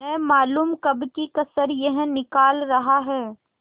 न मालूम कब की कसर यह निकाल रहा है